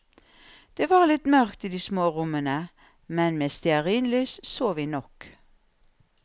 Det var litt mørkt i de små rommene, men med stearinlys så vi nok.